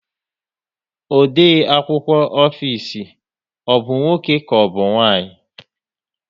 Ode akwụkwọ ofisi ọ bụ nwoke ka ọbụ nwanyị?